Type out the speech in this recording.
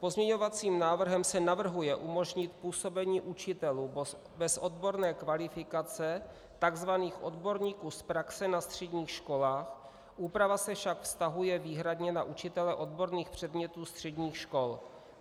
Pozměňovacím návrhem se navrhuje umožnit působení učitelů bez odborné kvalifikace, tzv. odborníků z praxe na středních školách, úprava se však vztahuje výhradně na učitele odborných předmětů středních škol.